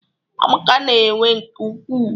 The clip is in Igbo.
Amaka n'ewe nke ukwuu